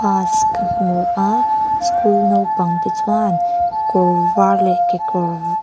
bus ka hmu a school naupang te chuan kawr var leh kekawr--